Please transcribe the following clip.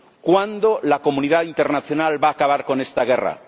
¿Cuándo la comunidad internacional va a acabar con esta guerra?